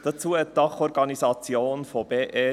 Dazu hat die Dachorganisation BE!